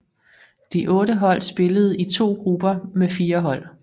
De otte hold spillede i to grupper med fire hold